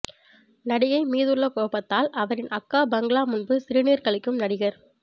நடிகை மீதுள்ள கோபத்தால் அவரின் அக்கா பங்களா முன்பு சிறுநீர் கழிக்கும் நடிகர்